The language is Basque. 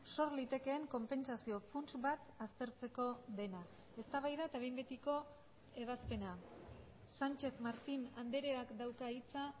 sor litekeen konpentsazio funts bat aztertzeko dena eztabaida eta behin betiko ebazpena sánchez martín andreak dauka hitza